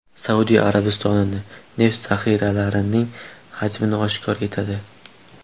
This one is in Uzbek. Saudiya Arabistoni neft zaxiralarining hajmini oshkor etadi.